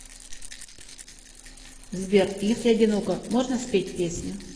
сбер если одиноко можно спеть песню